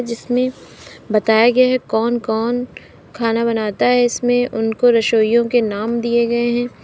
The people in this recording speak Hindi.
इसमें बताया गया है कौन कौन खाना बनाता है इसमें उनको रसोइयों के नाम दिए गए हैं।